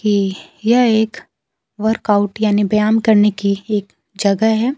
ये यह एक वर्कआउट यानी व्याम करने की एक जगह है।